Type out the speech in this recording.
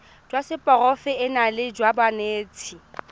jwa seporofe enale jwa banetshi